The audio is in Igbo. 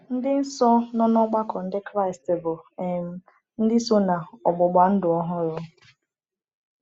Ndị nsọ nọ n’ọgbakọ Ndị Kraịst bụ um ndị so na “ọgbụgba ndụ ọhụrụ.”